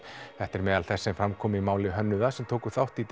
þetta er meðal þess sem fram kom í máli hönnuða sem tóku þátt í